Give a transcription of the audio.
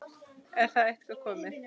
Er það eitthvað komið?